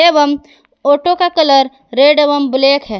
एवं ऑटो का colour red एवं ब्लैक है।